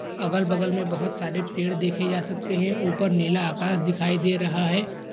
अगल-बगल में बहुत सारे पेड़ देखे जा सकते हैं ऊपर नीला आकाश दिखाई दे रहा है।